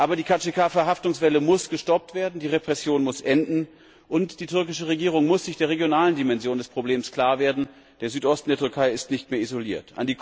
Aber die KCK Verhaftungswelle muss gestoppt werden, die Repression muss enden, und die türkische Regierung muss sich der regionalen Dimension des Problems klar werden Der Südosten der Türkei ist nicht mehr isoliert.